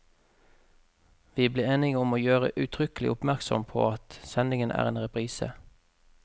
Vi ble enige om å gjøre uttrykkelig oppmerksom på at sendingen er en reprise.